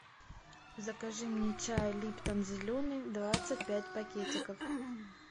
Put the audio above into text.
закажи мне чай липтон зеленый двадцать пять пакетиков